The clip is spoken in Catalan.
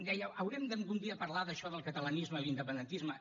deia haurem de algun dia parlar d’això del catalanisme i l’independentisme